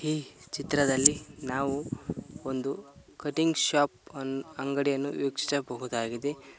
ಈ ಚಿತ್ರದಲ್ಲಿ ನಾವು ಒಂದು ಕಟಿಂಗ್ ಶಾಪ್ ಅನ್ ಅಂಗಡಿಯನ್ನು ವೀಕ್ಷಿಸಬಹುದಾಗಿದೆ.